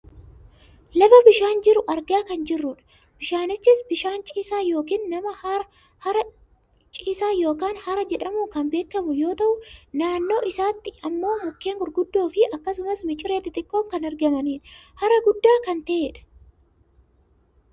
lafa bishaan jiru argaa kan jirrudha. bishaanichis bishaan ciisaa yookaan hara jedhamuun kan beekkamu yoo ta'u, naannoo isaatti ammoo mukeen gurguddoo fi akkasumas miciree xixiqqoon kan argamanidha. Hara guddaa kan ta'edha.